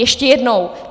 Ještě jednou.